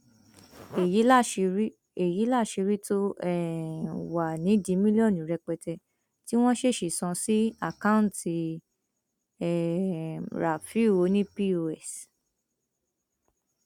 èyí láṣìírí èyí láṣìírí tó um wà nídìí mílíọnù rẹpẹtẹ tí wọn ṣèèṣì sàn sí àkáùntì um rafiu ọnì pọs